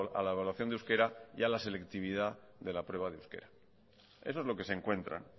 a la evaluación de euskera y a la selectividad de la prueba de euskera eso es lo que se encuentran